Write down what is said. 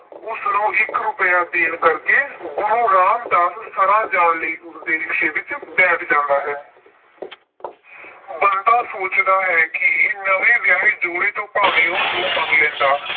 ਉਸਨੂੰ ਇਕ ਰੁਪਇਆ ਦੇਣ ਕਰਕੇ ਗੁਰੂ ਰਾਮਦਾਸ ਸਰਾਂ ਵਿੱਚ ਜਾਣ ਕਰਕੇ ਉਸਦੇ rickshaw ਵਿੱਚ ਬੈਠ ਜਾਂਦਾ ਹੈ। ਬੰਤਾ ਸੋਚਦਾ ਹੈ ਕਿ ਨਵੇਂ ਵਿਆਹੇ ਜੋੜੇ ਤੋਂ ਭਾਵੇਂ ਉਹ ਦੋ ਮੰਗ ਲੈਂਦਾ।